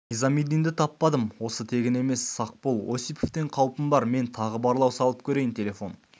низамиддинді таппадым осы тегін емес сақ бол осиповтен қаупім бар мен тағы барлау салып көрейін телефон